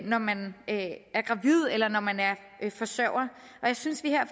når man er gravid eller når man er forsørger og jeg synes vi her